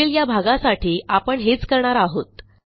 detail या भागासाठी आपण हेच करणार आहोत